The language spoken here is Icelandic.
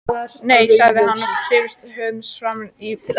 Nei, sagði hann og hristi höfuðið framan í börnin.